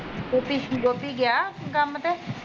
ਗੋਪੀ ਗੋਪੀ ਗਿਆ ਕੰਮ ਤੇ